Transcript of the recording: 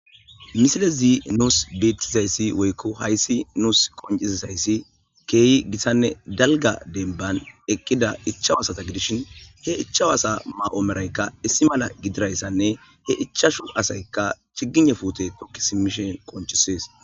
Misile zii nuus beettizayssi woykko hayssi nuus qoncizizayssi keeyi gisanne dalga denban ekkida ichawaasata gidishin he ichawasa ma'o meraykka issi mala gidirayssanne he ichashu asaykka chigice fuute tokki simishen qonchisees